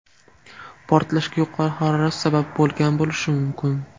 Portlashga yuqori harorat sabab bo‘lgan bo‘lishi mumkin.